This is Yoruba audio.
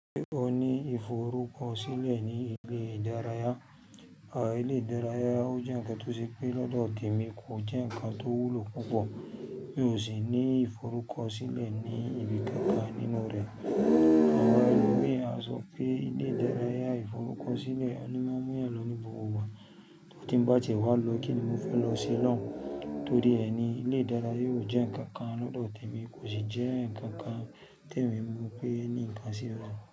Ó ní ìforúkọ sílẹ̀ ní ilé ìdárayá. Àwọn ilé ìdárayá ó jẹ́ ǹkan tó ṣe pé lọ́dọ̀ tèmi kò jẹ́ ǹkan tó wúlò púpọ̀ mí ó ṣi ní ìforúkọ sílẹ̀ ní ibi kọ̀ọ̀kan nínú rẹ̀. Àwọn ẹlòmíràn sọ pé ilé ìdárayá ìforúkọ sílẹ̀ ní mọ́ múyàn ló ní gbogbo igba tó ti ń bá tiẹ wa lọ kíni mo fẹ́ lọ se lọ́un. Torí rẹ ni ilé ìdárayá yóò jẹ́ ǹkan kan lọ́dọ̀ tèmi kò sì jẹ́ ǹkan kan tèmi mọ̀ pé ẹni ǹkan sí rẹ̀